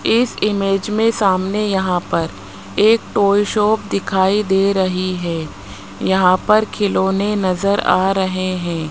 इस इमेज में सामने यहां पर एक टॉय शॉप दिखाई दे रही है यहां पर खिलौने नजर आ रहे हैं।